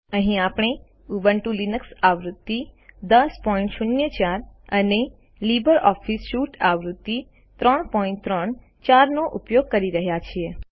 અહીં આપણે Ubuntu Linux આવૃત્તિ 1004 અને લિબ્રિઓફિસ સ્યુટ આવૃત્તિ 334 નો ઉપયોગ કરી રહ્યા છીએ